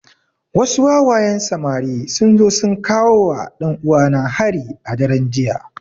Wasu wawayen samari sun zo sun kawowa ɗan uwana hari a daren jiya